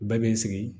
Bɛɛ bɛ sigi